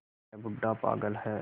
यह बूढ़ा पागल है